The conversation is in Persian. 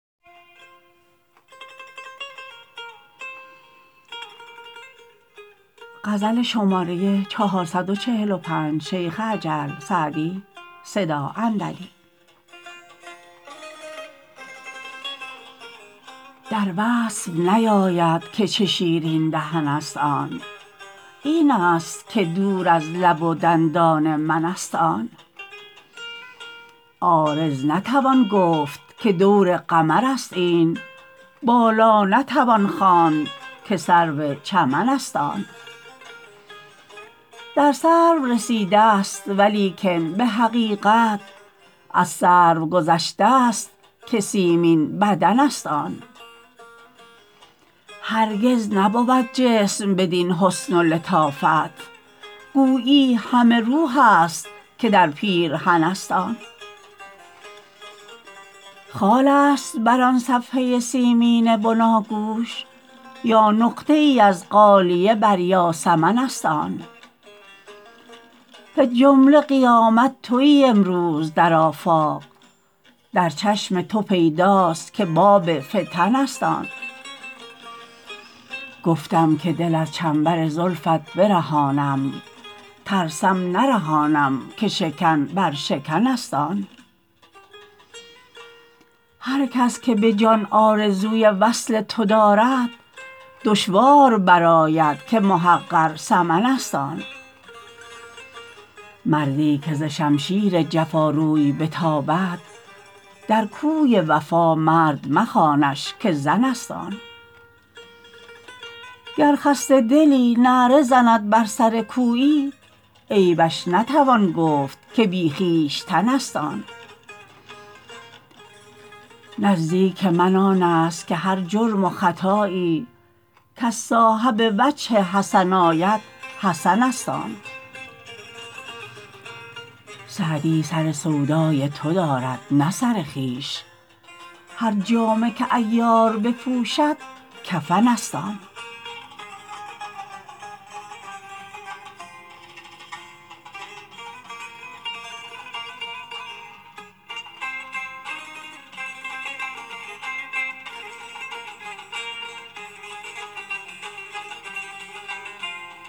در وصف نیاید که چه شیرین دهن است آن این است که دور از لب و دندان من است آن عارض نتوان گفت که دور قمر است این بالا نتوان خواند که سرو چمن است آن در سرو رسیده ست ولیکن به حقیقت از سرو گذشته ست که سیمین بدن است آن هرگز نبود جسم بدین حسن و لطافت گویی همه روح است که در پیرهن است آن خال است بر آن صفحه سیمین بناگوش یا نقطه ای از غالیه بر یاسمن است آن فی الجمله قیامت تویی امروز در آفاق در چشم تو پیداست که باب فتن است آن گفتم که دل از چنبر زلفت برهانم ترسم نرهانم که شکن بر شکن است آن هر کس که به جان آرزوی وصل تو دارد دشوار برآید که محقر ثمن است آن مردی که ز شمشیر جفا روی بتابد در کوی وفا مرد مخوانش که زن است آن گر خسته دلی نعره زند بر سر کویی عیبش نتوان گفت که بی خویشتن است آن نزدیک من آن است که هر جرم و خطایی کز صاحب وجه حسن آید حسن است آن سعدی سر سودای تو دارد نه سر خویش هر جامه که عیار بپوشد کفن است آن